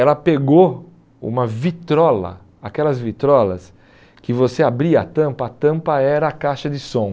Ela pegou uma vitrola, aquelas vitrolas que você abria a tampa, a tampa era a caixa de som.